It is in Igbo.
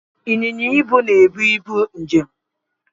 Ịnyịnya ibu na-ebu ibu njem